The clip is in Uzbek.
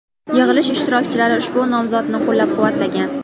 Yig‘ilish ishtirokchilari ushbu nomzodni qo‘llab-quvvatlagan.